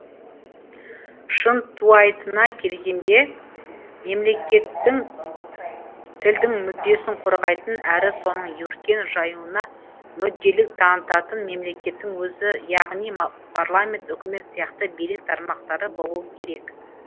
шынтуайтына келгенде мемлекеттік тілдің мүддесін қорғайтын әрі соның өркен жаюына мүдделілік танытатын мемлекеттің өзі яғни парламент үкімет сияқты билік тармақтары болуы керек